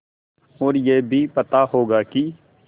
और यह भी पता होगा कि